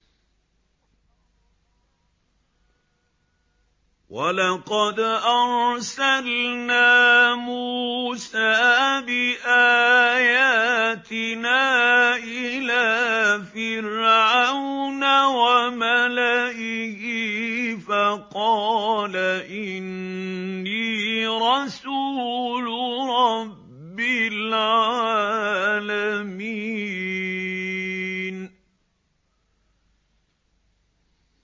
وَلَقَدْ أَرْسَلْنَا مُوسَىٰ بِآيَاتِنَا إِلَىٰ فِرْعَوْنَ وَمَلَئِهِ فَقَالَ إِنِّي رَسُولُ رَبِّ الْعَالَمِينَ